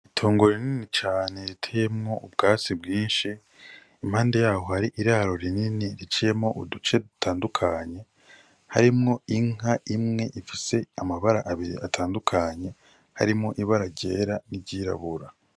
Itongo rinini cane riteyemwo ubwatsi bwishi impande yaho hari iraro rinini riciyemwo uduce dutandukanye harimwo inka imwe ifise amabara abiri atandukanye harimwo ibara ryera n'iryirabura.